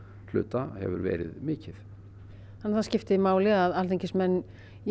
hluta hefur verið mikið þannig að það skiptir máli að alþingismenn